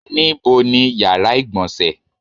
Níbo ni yàrá ìgbọ̀nsẹ̀?